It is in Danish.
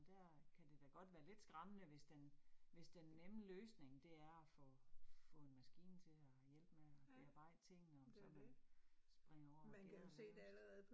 Og der kan det da godt være lidt skræmmende, hvis den hvis den nemme løsning det er få få en maskine til at hjælpe med at bearbejde tingene, om så man springer over, hvor gærdet er lavest